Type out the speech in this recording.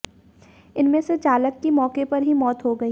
इनमें से चालक की मौके पर ही मौत हो गयी